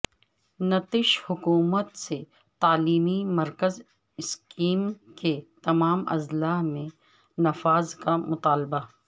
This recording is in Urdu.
نتیش حکومت سے تعلیمی مرکز اسکیم کے تمام اضلاع میں نفاذ کا مطالبہ